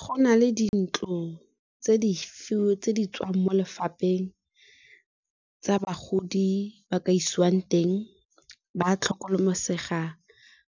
Go na le dintlo tse di tswang mo lefapheng tsa bagodi ba ka isiwang teng ba tlhokomelesega,